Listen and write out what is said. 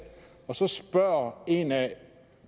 og så spørger en af